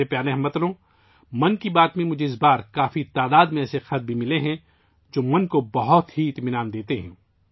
میرے پیارے ہم وطنو، مجھے بھی اس بار 'من کی بات' میں ایسے خطوط کی ایک بڑی تعداد موصول ہوئی ہے ، جو ذہن کو بہت اطمینان بخشتی ہے